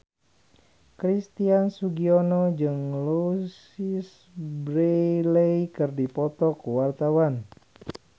Christian Sugiono jeung Louise Brealey keur dipoto ku wartawan